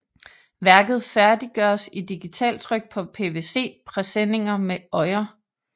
Værket færdiggøres i digitaltryk på PVC presenninger med øjer